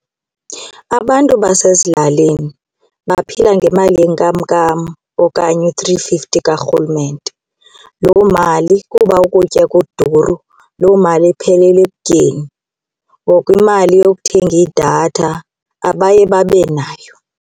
Abantu basezilalini baphila ngemali yenkamnkam okanye u-three fifty kaRhulumente. Loo mali, kuba ukutya kuduru, loo mali iphelela ekutyeni ngoku imali yokuthenga idatha abaye babe nayo.